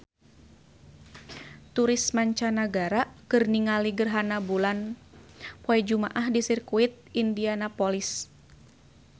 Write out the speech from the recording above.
Turis mancanagara keur ningali gerhana bulan poe Jumaah di Sirkuit Indianapolis